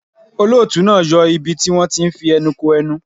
Olóòtú náà yọ ibi tí wón ti ń fi ẹnu ko ẹnu.